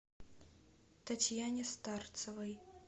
татьяне старцевой